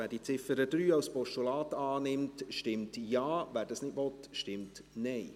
Wer die Ziffer 3 als Postulat annimmt, stimmt Ja, wer dies nicht will, stimmt Nein.